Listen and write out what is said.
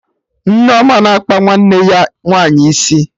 Nneoma na-akpa nwanne ya nwaanyị isi